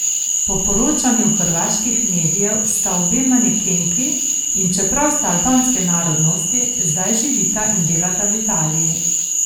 Po poročanju hrvaških medijev sta obe manekenki, in čeprav sta albanske narodnosti, zdaj živita in delata v Italiji.